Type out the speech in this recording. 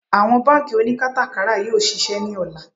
Àwọn bánkì oníkátàkárà yóò ṣiṣẹ́ ní ọ̀la